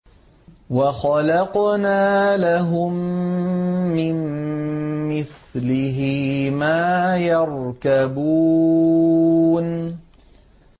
وَخَلَقْنَا لَهُم مِّن مِّثْلِهِ مَا يَرْكَبُونَ